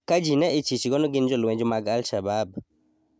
ka ji ne ichichgo ni gin jolweny mag al-Shabab